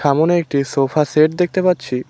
সামোনে একটি sofa set দেখতে পাচ্ছি।